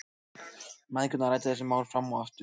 Mæðgurnar ræddu þessi mál fram og aftur.